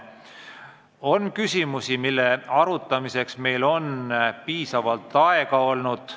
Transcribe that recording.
On küsimusi, mille arutamiseks meil on piisavalt aega olnud.